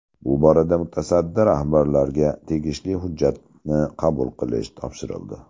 Bu borada mutasaddi rahbarlarga tegishli hujjatni qabul qilish topshirildi.